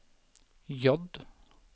J